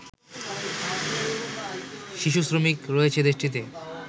শিশু শ্রমিক রয়েছে দেশটিতে